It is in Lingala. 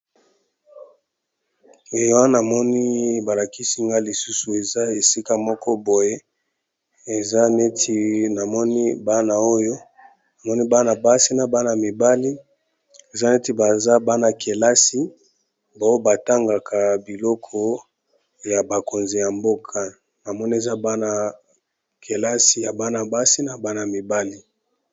E awa na moni ba lakisi nga lisusu eza esika moko boye. Eza neti na moni bana oyo na moni bana basi na bana mibali. Eza neti baza bana kelasi ba oyo ba tangaka biloko ya bakonzi ya mboka. Na moni eza bana kelasi ya bana basi na bana mibali.